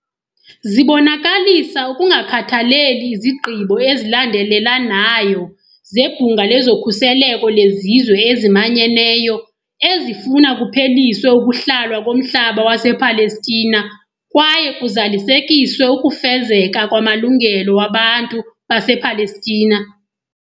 Zibonakalisa ukungakhathaleli izigqibo ezilandelela nayo zeBhunga lezoKhuseleko leZizwe eziManyeneyo ezifuna kupheliswe ukuhlalwa komhlaba wasePalestina kwaye kuzalisekiswe ukufezeka kwamalungelo wabantu basePalestina.